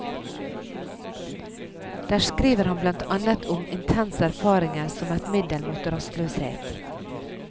Der skriver han blant annet om intense erfaringer som et middel mot rastløshet.